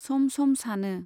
सम सम सानो।